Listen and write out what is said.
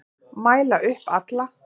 Mæla upp alla